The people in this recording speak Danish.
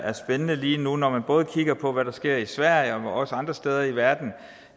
er spændende lige nu når man både kigger på hvad der sker i sverige og også andre steder i verden